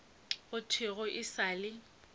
go thwego e sa le